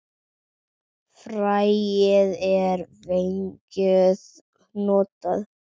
Fræið er vængjuð hnota.